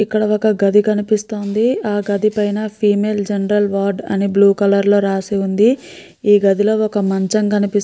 ఇక్కడ ఒక గది కనిపిస్తోంది. ఆ గది పైఅన ఫేమల్ జెనరల్ వర్డ్ అని బ్ల్యూ కలర్ లో రాసి ఉంది. ఈ గదిలో ఒక మనచం కనిపిస్తుంది.